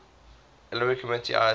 olympic committee ioc